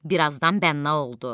Bir azdan bənna oldu.